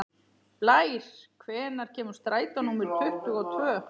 Blær, hvenær kemur strætó númer tuttugu og tvö?